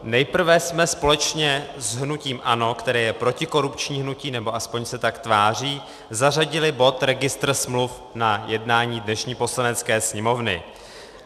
Nejprve jsme společně s hnutím ANO, které je protikorupční hnutí, nebo aspoň se tak tváří, zařadili bod registr smluv na jednání dnešní Poslanecké sněmovny.